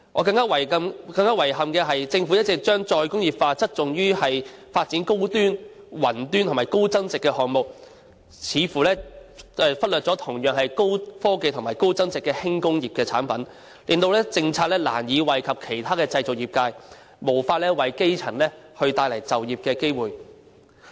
令我更遺憾的是，政府一直將再工業化側重於發展高端、雲端及高增值的項目，似乎忽略了同樣是高科技及高增值的輕工業的產品，令政策難以惠及其他的製造業界，無法為基層帶來就業的機會。